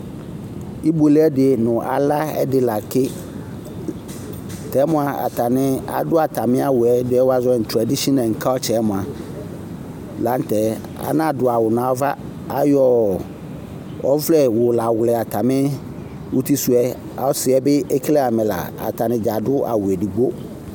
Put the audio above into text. Ibuele ɛdɩ nʋ ala ɛdɩ la tɩ Tɛ mʋa, atani adu atami awu ɛdɩ yɛ wʋazɔ nʋ tradishinakata yɛ mua, la nʋ tɛ Anadu awu nʋ ava Ayɔ ɔvlɛwɛ la wlɛ atami utisʋ yɛ Ɔsɩ yɛ bɩ ekele amɛ la Atani dza adu awu edigbo